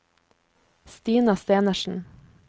Stina Stenersen